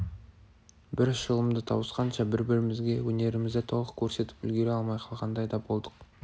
бір шылымды тауысқанша бір-бірімізге өнерімізді толық көрсетіп үлгере алмай қалғандай да болдық